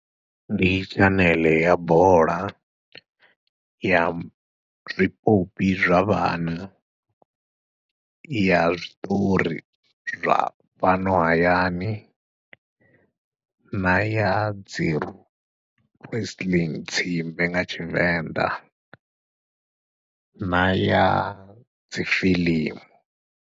Ndi tshaneḽe ya bola, ya zwipopi zwa vhana, ya zwiṱori zwa fhano hayani na yadzi press nga tshivenḓa na yadzi fiḽimu.